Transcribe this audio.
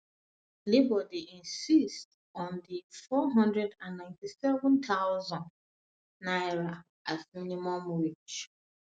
labour dey insist on on n497000 as minimum wage